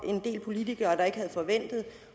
en del politikere der ikke havde forventet